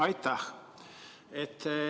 Aitäh!